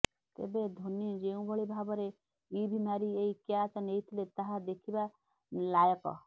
ତେବେ ଧୋନୀ ଯେଉଁଭଳି ଭାବରେ ଇଭ୍ ମାରି ଏହି କ୍ୟାଚ୍ ନେଇଥିଲେ ତାହା ଦେଖିବା ଲାୟକ